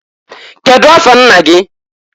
Kedu afa nna gị?